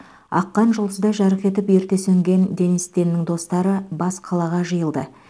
аққан жұлдыздай жарқ етіп ерте сөнген денис теннің достары бас қалаға жиылды